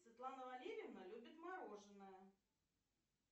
светлана валерьевна любит мороженое